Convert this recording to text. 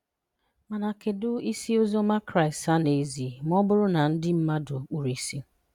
Mana kedụ isi Oziọma Kraịst a na ezi ma ọ bụrụ na ndị mmadụ kpuru ìsì?